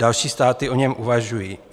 Další státy o něm uvažují.